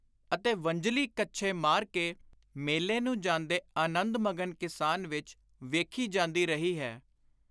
ਅਤੇ ਵੰਝਲੀ ਕੱਛੇ ਮਾਰ ਕੇ, ਮੇਲੇ ਨੂੰ ਜਾਂਦੇ ਅਨੰਦ-ਮਗਨ ਕਿਸਾਨ ਵਿਚ ਵੇਖੀ ਜਾਂਦੀ ਰਹੀ ਹੈ।